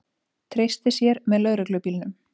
Treysti sér með lögreglubílnum